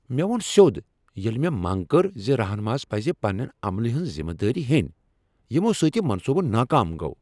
مےٚ وون سیو٘د ییٚلہِ مےٚ منٛگ کٔر ز رہنماہس پزِ پنٛنہِ عملہِ ہٕنٛز ذمہ دٲری ہینۍ یِمو سۭتۍ یہ منصوبہٕ ناکام گوٚو۔